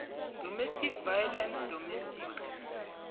domestic violence domestic